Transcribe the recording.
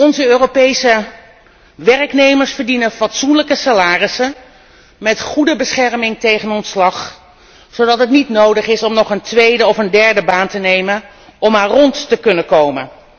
Onze Europese werknemers verdienen fatsoenlijke salarissen en hebben een goede bescherming tegen ontslag, zodat het niet nodig is nog een tweede of derde baan te nemen om rond te kunnen komen.